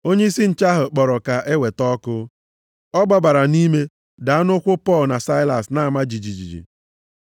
Onyeisi nche ahụ kpọrọ ka eweta ọkụ, ọ gbabara nʼime, daa nʼụkwụ Pọl na Saịlas na-ama jijiji.